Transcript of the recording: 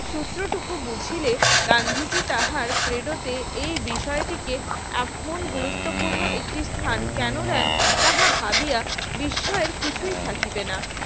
সূত্র টুকু বুঝিলে গান্ধীজি তাহার প্রেরোতে এই বিষয়টিকে আপন গুরুত্বপূর্ণ একটি স্থান কেন দেন তাহা ভাবিয়া বিশ্বের কিছুই থাকবে না